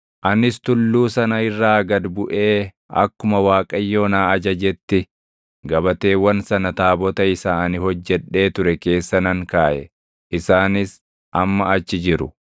Anis tulluu sana irraa gad buʼee akkuma Waaqayyo na ajajetti gabateewwan sana taabota isa ani hojjedhee ture keessa nan kaaʼe; isaanis amma achi jiru.